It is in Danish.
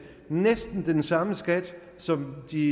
næsten den samme skat som de